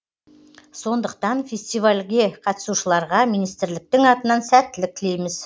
сондықтан фестивальге қатысушыларға министрліктің атынан сәттілік тілейміз